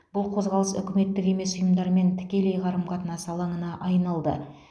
бұл қозғалыс үкіметтік емес ұйымдармен тікелей қарым қатынас алаңына айналды